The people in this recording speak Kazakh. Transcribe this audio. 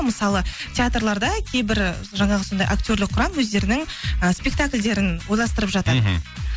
мысалы театрларда кейбір жаңағы сондай актерлік құрам өздерінің ы спектакльдерін ойластырып жатады мхм